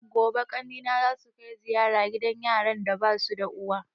Gobe ƙanne na zasu kai ziyara gidan yaran da basu da uwa